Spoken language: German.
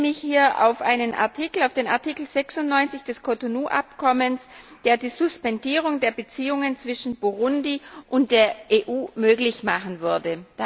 Ich beziehe mich hier auf den Artikel 96 des Cotonou Abkommens, der die Suspendierung der Beziehungen zwischen Burundi und der EU möglich machen würde.